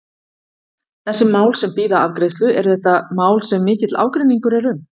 Þessi mál sem bíða afgreiðslu, eru þetta mál sem mikill ágreiningur er um?